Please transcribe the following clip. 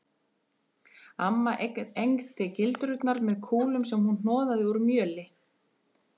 Amma egndi gildrurnar með kúlum sem hún hnoðaði úr mjöli.